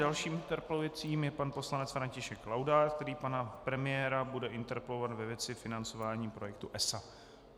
Dalším interpelujícím je pan poslanec František Laudát, který pana premiéra bude interpelovat ve věci financování projektu ESA.